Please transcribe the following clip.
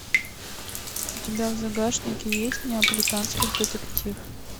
у тебя в загашнике есть неаполитанский детектив